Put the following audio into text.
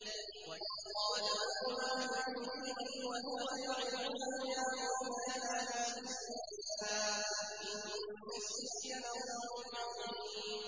وَإِذْ قَالَ لُقْمَانُ لِابْنِهِ وَهُوَ يَعِظُهُ يَا بُنَيَّ لَا تُشْرِكْ بِاللَّهِ ۖ إِنَّ الشِّرْكَ لَظُلْمٌ عَظِيمٌ